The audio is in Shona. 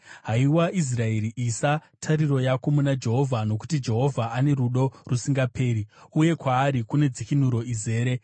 Haiwa Israeri, isa tariro yako muna Jehovha, nokuti Jehovha ane rudo rusingaperi uye kwaari kune dzikinuro izere.